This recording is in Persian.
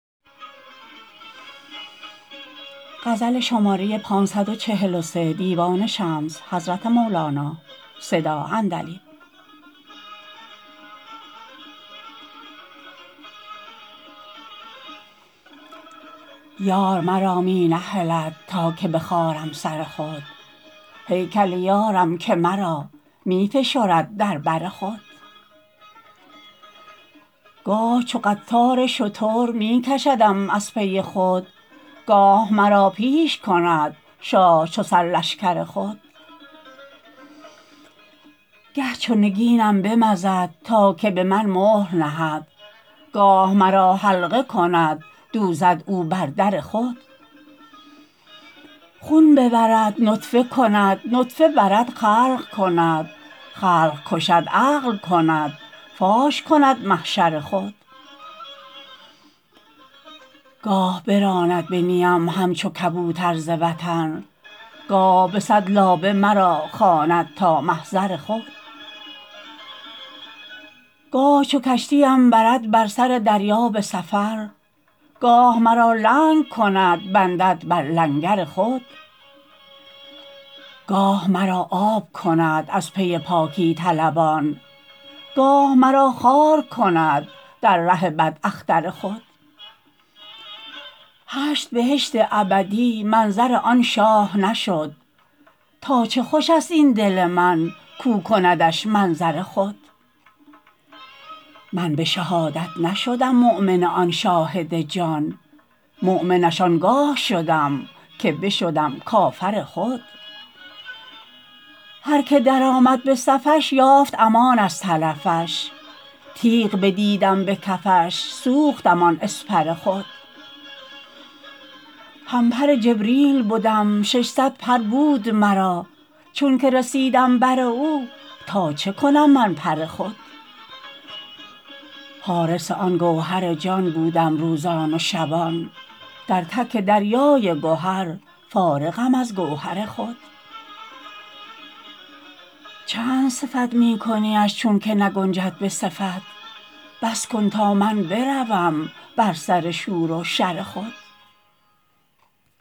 یار مرا می نهلد تا که بخارم سر خود هیکل یارم که مرا می فشرد در بر خود گاه چو قطار شتر می کشدم از پی خود گاه مرا پیش کند شاه چو سرلشکر خود گه چو نگینم بمزد تا که به من مهر نهد گاه مرا حلقه کند دوزد او بر در خود خون ببرد نطفه کند نطفه برد خلق کند خلق کشد عقل کند فاش کند محشر خود گاه براند به نیم همچو کبوتر ز وطن گاه به صد لابه مرا خواند تا محضر خود گاه چو کشتی بردم بر سر دریا به سفر گاه مرا لنگ کند بندد بر لنگر خود گاه مرا آب کند از پی پاکی طلبان گاه مرا خار کند در ره بداختر خود هشت بهشت ابدی منظر آن شاه نشد تا چه خوش است این دل من کو کندش منظر خود من به شهادت نشدم مؤمن آن شاهد جان مؤمنش آن گاه شدم که بشدم کافر خود هر کی درآمد به صفش یافت امان از تلفش تیغ بدیدم به کفش سوختم آن اسپر خود همپر جبریل بدم ششصد پر بود مرا چونک رسیدم بر او تا چه کنم من پر خود حارس آن گوهر جان بودم روزان و شبان در تک دریای گهر فارغم از گوهر خود چند صفت می کنیش چونک نگنجد به صفت بس کن تا من بروم بر سر شور و شر خود